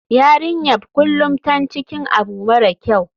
YArinyanbkulum tan cikin abu mara kyau.